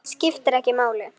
Skiptir ekki máli!